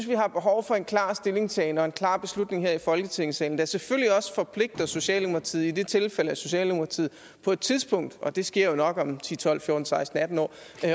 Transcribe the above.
vi har behov for en klar stillingtagen og en klar beslutning her i folketingssalen der selvfølgelig også forpligter socialdemokratiet i tilfælde af at socialdemokratiet på et tidspunkt og det sker jo nok om ti tolv fjorten seksten atten år